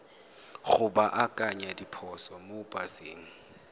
go baakanya diphoso mo paseng